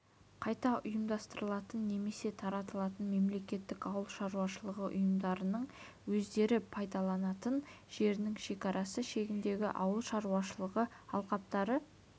қайта ұйымдастырылатын немесе таратылатын мемлекеттік ауыл шаруашылығы ұйымдарының өздері пайдаланатын жерінің шекарасы шегіндегі ауыл шаруашылығы алқаптары